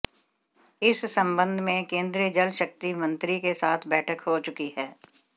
इस सम्बन्ध में केन्द्रीय जल शक्ति मंत्री के साथ बैठक हो चुकी है